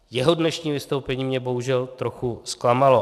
Jeho dnešní vystoupení mě bohužel trochu zklamalo.